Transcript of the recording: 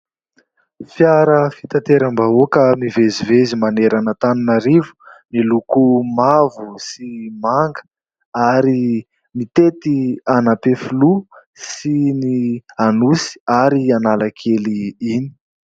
Fiara fitateram-bahoaka mivezivezy maro manerana an'Antananarivo miloko mavo sy manga ary mitety an'Ampefiloha sy ny Anosy ary Analakely iny.